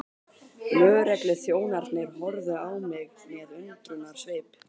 Lögregluþjónarnir horfðu á mig með undrunarsvip.